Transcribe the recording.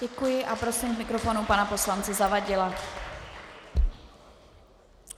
Děkuji a prosím k mikrofonu pana poslance Zavadila.